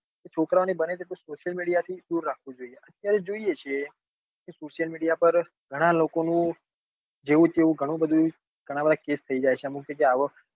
છોકરાઓ ને બને એટલું social media થી દુર રાખવું જોઈએ. અત્યારે જોઈએ છીએ social media પર ઘણાં લોકો નું જેવું તેવું ઘણું બધું ઘણા બધા case થઇ જાય છે અમુક જગ્યા એ આવો